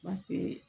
Paseke